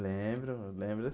Lembro, lembro.